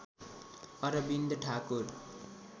Arvind Thakur